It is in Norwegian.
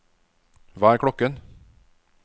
hva er klokken